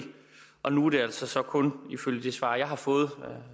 og nu er det altså så kun ifølge det svar jeg har fået